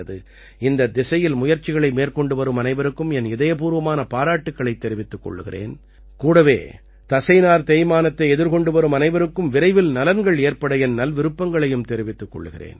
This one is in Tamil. இந்தத் திசையில் முயற்சிகளை மேற்கொண்டுவரும் அனைவருக்கும் என் இதயபூர்வமான பாராட்டுக்களைத் தெரிவித்துக் கொள்கிறேன் கூடவே தசைநார் தேய்மானத்தை எதிர்கொண்டு வரும் அனைவருக்கும் விரைவில் நலன்கள் ஏற்பட என் நல்விருப்பங்களையும் தெரிவித்துக் கொள்கிறேன்